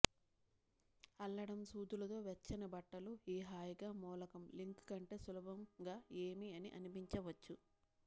అల్లడం సూదులు తో వెచ్చని బట్టలు ఈ హాయిగా మూలకం లింక్ కంటే సులభంగా ఏమీ అని అనిపించవచ్చు